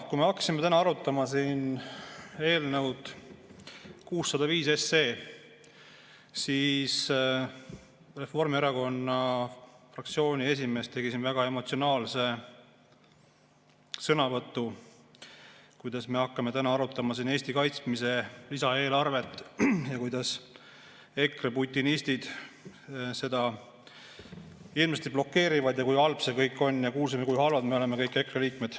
Kui me hakkasime täna arutama siin eelnõu 605, siis Reformierakonna fraktsiooni esimees esines väga emotsionaalse sõnavõtuga, kuidas me hakkame täna arutama Eesti kaitsmise lisaeelarvet ja kuidas EKRE putinistid seda hirmsasti blokeerivad ja kui halb see kõik on, ja kuulsime, kui halvad me oleme, kõik EKRE liikmed.